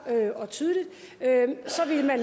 og tydeligt så ville man